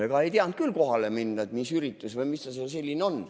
Ega ei teadnud küll kohale minna, et mis üritus või mis see seal selline on.